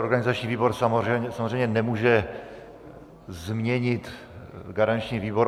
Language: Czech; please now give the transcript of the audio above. Organizační výbor samozřejmě nemůže změnit garanční výbor.